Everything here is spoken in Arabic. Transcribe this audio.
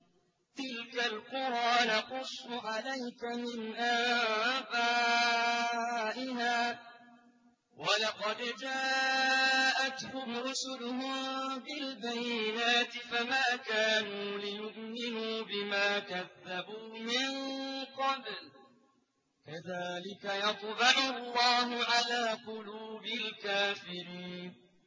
تِلْكَ الْقُرَىٰ نَقُصُّ عَلَيْكَ مِنْ أَنبَائِهَا ۚ وَلَقَدْ جَاءَتْهُمْ رُسُلُهُم بِالْبَيِّنَاتِ فَمَا كَانُوا لِيُؤْمِنُوا بِمَا كَذَّبُوا مِن قَبْلُ ۚ كَذَٰلِكَ يَطْبَعُ اللَّهُ عَلَىٰ قُلُوبِ الْكَافِرِينَ